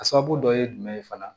A sababu dɔ ye jumɛn ye fana